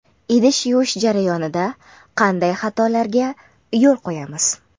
Idish yuvish jarayonida qanday xatolarga yo‘l qo‘yamiz?.